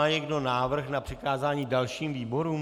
Má někdo návrh na přikázání dalším výborům?